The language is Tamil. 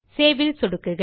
Saveல் சொடுக்குக